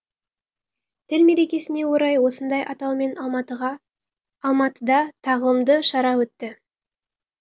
тіл мерекесіне орай осындай атаумен алматыда тағылымды шара өтті